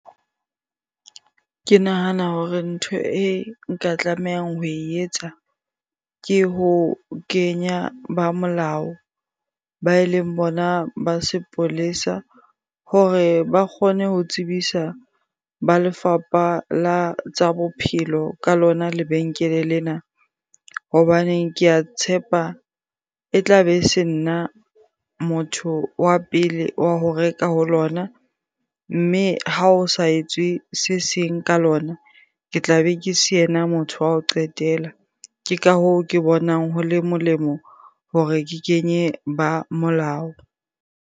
Ke nahana hore ntho e nka tlamehang ho etsa ke ho kenya ba molao ba e leng bona ba sepolesa hore ba kgone ho tsebisa ba lefapha la tsa bophelo ka lona lebenkele lena. Hobaneng ke a tshepa e tla be e se nna motho wa pele wa ho reka ho lona. Mme ha o sa etswe se seng ka lona, ke tla be ke se ena motho wa ho qetela. Ke ka hoo, ke bonang ho le molemo hore ke kenye ba molao.